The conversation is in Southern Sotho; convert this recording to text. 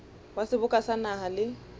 wa seboka sa naha le